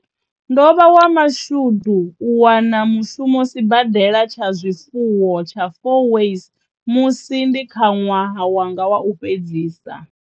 Ndo vha wa mashudu u wana mushumo sibadela tsha zwifuwo tsha Fourways musi ndi kha ṅwaha wanga wa u fhedzisa.